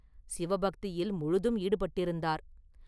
சிவ பக்தியில் முழுதும் ஈடுபட்டிருந்தார்.